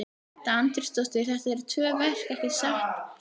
Edda Andrésdóttir: Þetta eru tvö verk ekki satt Þorbjörn?